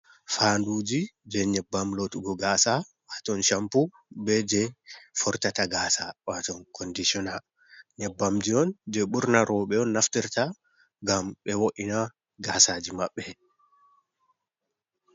Fanduji je nyebbam lootugo gaasa. Haa ton campo, be je fortata gaasa waton kondishona, nyebbamji on je ɓurna roɓe on naftirta, ngam ɓe wo’ina gaasaji maɓɓe.